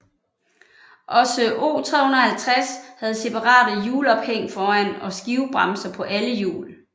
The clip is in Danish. Også O 350 havde separate hjulophæng foran og skivebremser på alle hjul